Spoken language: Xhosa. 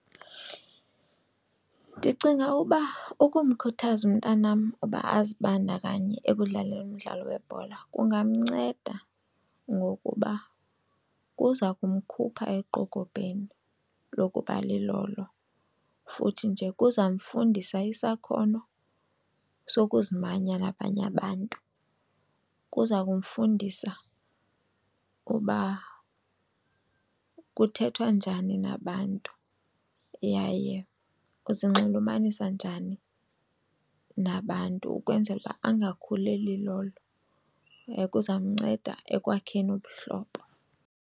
Ndicinga uba ukumkhuthaza umntanam uba azibandakanye ekudlaleni umdlalo webhola kungamnceda ngokuba kuza kukumkhupha eqokobheni lokuba lilolo futhi nje kuzamfundisa isakhono sokuzimanya nabanye abantu. Kuza kumfundisa uba kuthethwa njani nabantu yaye uzinxulumanisa njani nabantu ukwenzela ukuba angakhuli elilolo, kuzamnceda ekwakheni ubuhlobo.